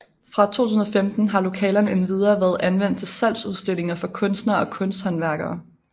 Fra 2015 har lokalerne endvidere været anvendt til salgsudstillinger for kunstnere og kunsthåndværkere